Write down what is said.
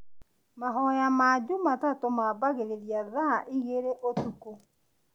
Mahoya ma Jumatatũ mambagĩrĩria thaa igĩrĩ ũtukũ